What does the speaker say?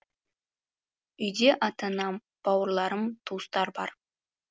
үйде ата анам бауырларым туыстар бар